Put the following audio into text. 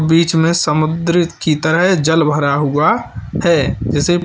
बीच में समुद्र की तरह जल भरा हुआ है जैसे--